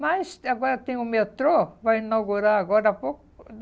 Mas agora tem o metrô, vai inaugurar agora há pouco.